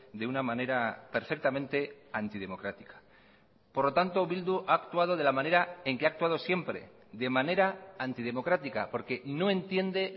de una manera perfectamente antidemocrática por lo tanto bildu ha actuado de la manera en que ha actuado siempre de manera antidemocrática porque no entiende